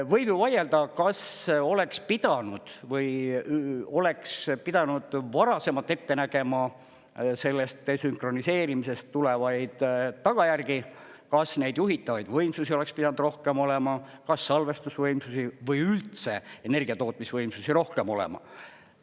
Võib ju vaielda, kas oleks pidanud või oleks pidanud varasemalt ette nägema sellest desünkroniseerimisest tulevaid tagajärgi, kas neid juhitavaid võimsusi oleks pidanud rohkem olema, kas salvestusvõimsusi või üldse energiatootmisvõimsusi rohkem olema.